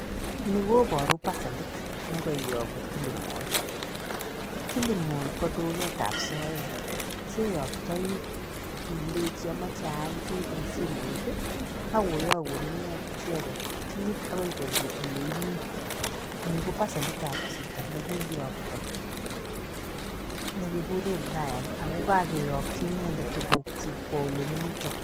Ni koboru paselit ne kaiyogu Kilimall. Kilimall ko duketab soeet. Cheyoktoii ileji amache aal kiit eng simoit, ak koyogun icheget kiit agoi konyo ole imii. Ni ko paselitab chito nekiiyokto ne kiguure Brian ako kakeyokchi inendet tugukchik kwo ole mito.